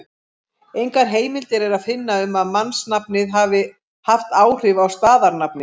Engar heimildir er að finna um að mannsnafnið hafi haft áhrif á staðarnafnið.